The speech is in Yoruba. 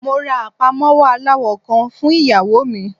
Mo ra apamọwọ alawọ kan fun iyawo mi.